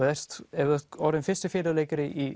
ef þú ert orðinn fyrsti fiðluleikari í